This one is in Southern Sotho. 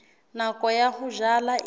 nako ya ho jala e